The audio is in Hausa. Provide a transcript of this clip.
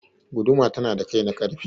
Guduma tana da kai na ƙarfe.